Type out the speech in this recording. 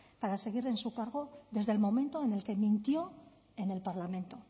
para seguir en su cargo desde el momento en el que mintió en el parlamento